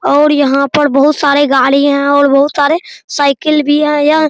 और यहाँ पर बहुत सारे गाड़ी हैं और बहुत सारे साइकिल भी है यह --